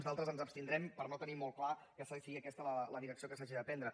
en d’altres ens abstindrem perquè no tenim molt clar que sigui aquesta la direcció que s’ha de prendre